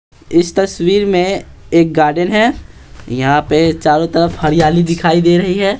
इस तस्वीर में एक गार्डन है यहाँ पे चारों तरफ हरियाली दिखाई दे रही है।